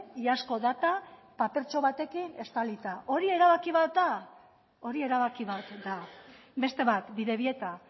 iazko data papertxo batekin estalita hori erabaki bat da hori erabaki bat da beste bat bidebieta